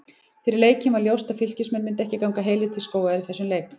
Fyrir leikinn var ljóst að Fylkismenn myndu ekki ganga heilir til skógar í þessum leik.